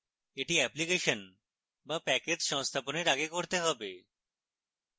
এটি অ্যাপ্লিকেশন বা প্যাকেজ সংস্থাপনের আগে করতে have